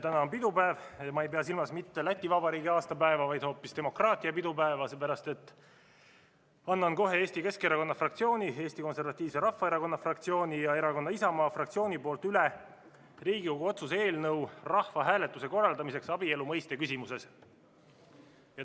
Täna on pidupäev – ja ma ei pea silmas mitte Läti Vabariigi aastapäeva, vaid hoopis demokraatia pidupäeva, seepärast, et annan kohe Eesti Keskerakonna fraktsiooni, Eesti Konservatiivse Rahvaerakonna fraktsiooni ja Isamaa Erakonna fraktsiooni nimel üle Riigikogu otsuse eelnõu rahvahääletuse korraldamiseks abielu mõiste küsimuses.